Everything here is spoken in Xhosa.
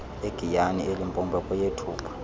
egiyani elimpopo kweyethupha